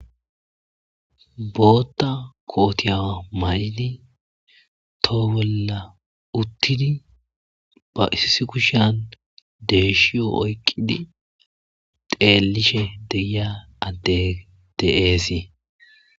Hayssa ha'i tani misileza bolla xeelishin beetizay aaze gizayssa gidikko na'mu addeti deshshiyo oykidi xelishshe de'etesi.